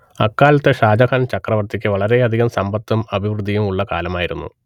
അക്കാലത്തെ ഷാജഹാൻ ചക്രവർത്തിക്ക് വളരെയധികം സമ്പത്തും അഭിവൃദ്ധിയും ഉള്ള കാലമായിരുന്നു